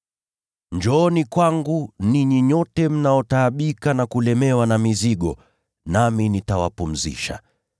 “Njooni kwangu, ninyi nyote mnaotaabika na kulemewa na mizigo, nami nitawapumzisha.